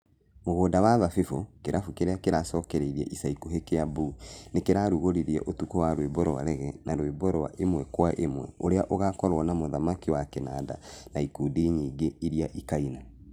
Mũgũnda wa thabĩbũ - kĩrabu kĩrĩa kĩracokereirio ica ikũhi Kĩambu nĩkĩrarũgũririe ũtukũ wa rwĩmbo rwa rege na rwimbo rwa ĩmwe kwa ĩmwe ũrĩa ũgakorwo na mũthaki wa kĩnanda na ikundi nyingĩ iria ikaina.